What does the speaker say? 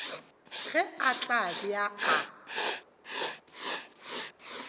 ge a tla be a